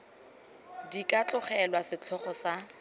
di ka tlogelwa setlhogo sa